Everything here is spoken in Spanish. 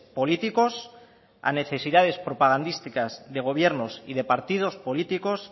políticos a necesidades propagandísticas de gobiernos y de partidos políticos